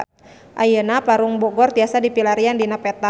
Ayeuna Parung Bogor tiasa dipilarian dina peta